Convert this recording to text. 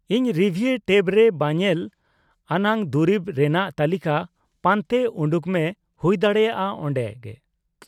ᱤᱱ ᱨᱤᱵᱷᱤᱭ' ᱴᱮᱵᱨᱮ ᱵᱟᱝᱧᱮᱞ ᱟᱱᱟᱜ ᱫᱩᱨᱤᱵ ᱨᱮᱱᱟᱜ ᱛᱟᱹᱞᱤᱠᱟ ᱯᱟᱱᱛᱮ ᱩᱱᱰᱩᱠ ᱢᱮ (ᱦᱩᱭ ᱫᱟᱲᱮᱭᱟᱜᱼᱟ ᱚᱱᱰᱮᱜᱮ) ᱾